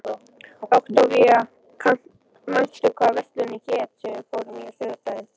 Októvía, manstu hvað verslunin hét sem við fórum í á sunnudaginn?